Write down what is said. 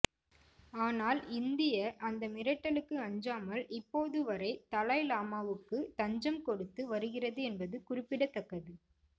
ஆனால் இந்திய அந்த மிரட்டலுக்கு அஞ்சாமல் இப்போதுவரை தலாய் லாமாவுக்கு தஞ்சம் கொடுத்து வருகிறது என்பது குறிப்பிடத்தக்கது